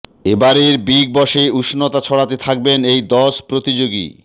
এবারের বিগ বসে উষ্ণতা ছড়াতে থাকবেন এই দশ প্রতিযোগী